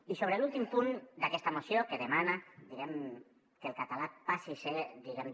i sobre l’últim punt d’aquesta moció que demana que el català passi a ser diguem ne